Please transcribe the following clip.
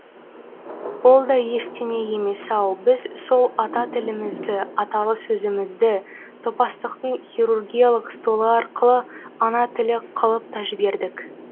ол да ештеңе емес ау біз сол ата тілімізді аталы сөзімізді топастықтың хирургиялық столы арқылы ана тілі қылып та жібердік